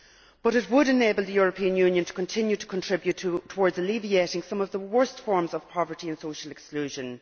But it would enable the European Union to continue to contribute towards alleviating some of the worst forms of poverty and social exclusion.